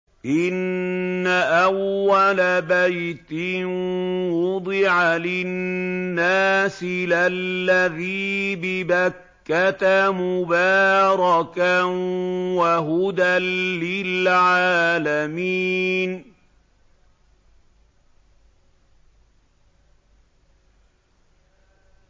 إِنَّ أَوَّلَ بَيْتٍ وُضِعَ لِلنَّاسِ لَلَّذِي بِبَكَّةَ مُبَارَكًا وَهُدًى لِّلْعَالَمِينَ